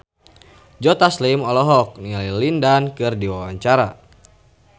Joe Taslim olohok ningali Lin Dan keur diwawancara